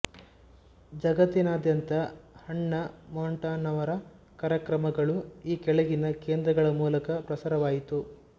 ಜಗತ್ತಿನಾದ್ಯಂತ Hannah Montana ರವರ ಕಾರ್ಯಕ್ರಮಗಳು ಈ ಕೆಳಗಿನ ಕೇಂದ್ರಗಳ ಮೂಲಕ ಪ್ರಸಾರವಾಯಿತು